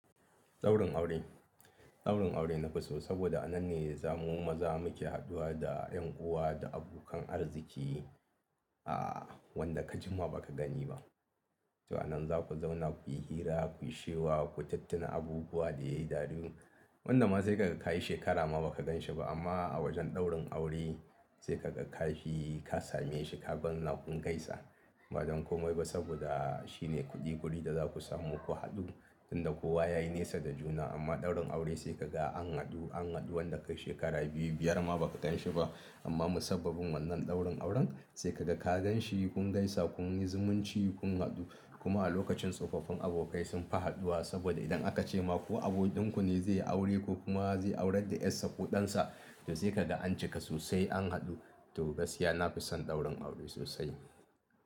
Ɗaurin aure, ɗaurin aure na fi so saboda a nan ne zamu mu maza muke haduwa da 'yan uwa da abokan arziki, a wanda ka jima ba ka gani ba. To a nan za ku zauna kuyi hira, kuyi shewa, ku tuttina abubuwa da yayi dadi. Wanda ma sai ka kayi shekara ma ba ka ganshi ba amma a wajen ɗaurin aure sai ka ga ka je ka same shi ka zauna lafiyan gaisa. Ba don komai ba saboda shine kuɗi-kuɗin da za ku samu ku haɗu, inda kowa yayi nesa da juna amma ɗaurin aure sai kaga an haɗu, an haɗu wanda kai shekara biyu, biyar ma ba ka ganshi ba amma musabbabin wannan ɗaurin auren sai ka ga ka ganshi kun gaisa kun yi zumunci kun haɗu. Kuma a lokacin tsofaffin abokai sunfi haduwa saboda idan aka ce ma ko abokin ku ne zai yi aure ko kuma zai aurar da 'yarsa ko ɗansa, to sai kada an cika sosai an haɗu. To gaskiya nafi son ɗaurin aure sosai.